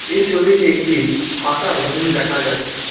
এই ছবিতে একটি ফাকা রুম দেখা যাচ্ছে।